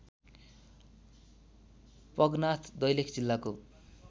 पगनाथ दैलेख जिल्लाको